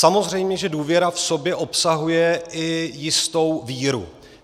Samozřejmě že důvěra v sobě obsahuje i jistou víru.